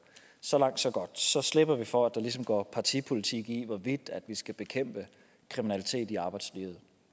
så langt så godt så slipper vi for at der ligesom går partipolitik i hvorvidt vi skal bekæmpe kriminalitet i arbejdslivet